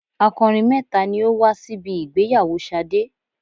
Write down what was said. Akọrin mẹ́ta ni ó wá síbi ìgbéyàwó Ṣadé.